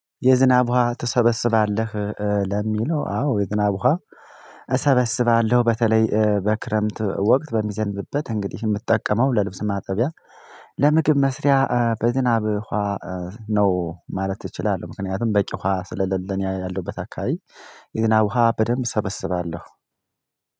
የዝናብ ውሃ ትሰበስባለህ? ለሚለው አዎ የዝናብ ውሃ እሰበስባለሁ በተለይ በክረምት ወቅት በሚዘንብበት እንግዲህ የምትጠቀመው ለልብስ ማጠቢያ ለምግብ መስሪያ በዝናብ ውሃ ነው ማለት እችላለህ። ምክንያቱም በቂ ውሃ ስሌለ እኔ ያለሁበት አካባቢ የዝናብ ውሃ በደንብ ሰበስባለሁ።